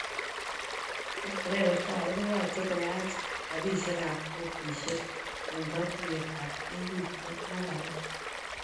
En kebeberta age koyache koach rapisiek ab kotisiek en katuyet ab EU chebo tukuk alak